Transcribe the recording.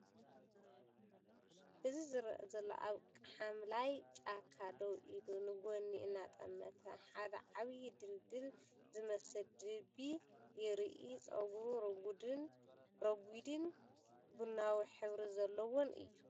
እዚ ዘረአ ዘሎ ኣብ ሓምላይ ጫካ ደው ኢሉ፡ ንጐድኒ እናጠመተ፡ ሓደ ዓቢ ድልዱል ዝመስል ድቢ የርኢ። ጸጉሩ ረጒድን ቡናዊ ሕብሪ ዘለዎን እዩ።